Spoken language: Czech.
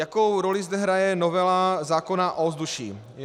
Jakou roli zde hraje novela zákona o ovzduší?